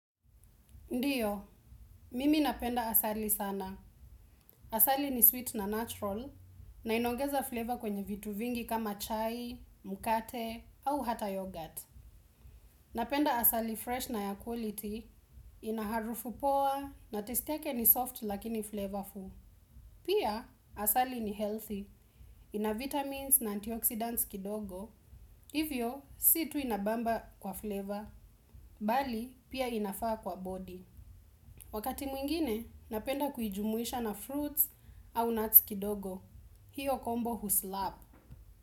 Ndiyo, mimi napenda asali sana. Asali ni sweet na natural, na inaongeza flavor kwenye vitu vingi kama chai, mkate, au hata yogurt. Napenda asali fresh na air quality, ina harufu poa, na taste yake ni soft lakini flavorful. Pia, asali ni healthy, ina vitamins na antioxidants kidogo, hivyo si tu inabamba kwa flavor, bali pia inafaa kwa body. Wakati mwingine, napenda kujumuisha na fruits au nuts kidogo. Hiyo kombo huslap.